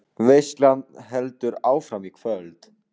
Veislan heldur áfram í kvöld